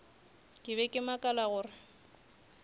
ke be ke makala gore